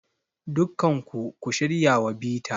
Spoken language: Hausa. Dukkan ku, ku shirya wa bita.